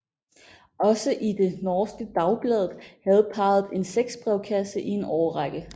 Også i det norske Dagbladet havde parret en sexbrevkasse i en årrække